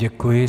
Děkuji.